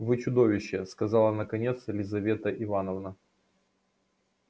вы чудовище сказала наконец елизавета ивановна